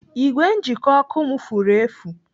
Igwe njikọ ọkụ m furu efu.